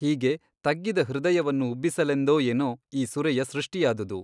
ಹೀಗೆ ತಗ್ಗಿದ ಹೃದಯವನ್ನು ಉಬ್ಬಿಸಲೆಂದೋ ಏನೋ ಈ ಸುರೆಯ ಸೃಷ್ಟಿಯಾದುದು!